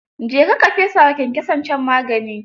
Je ka ka fesa wa kyankyason can magani.